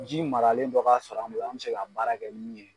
Ji maralen dɔ ka sɔrɔ an bolo an bi se ka baara kɛ ni min ye